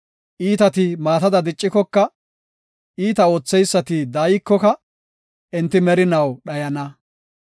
Iitati maatada diccikoka, iita ootheysati daaykoka, enti merinaw dhayana.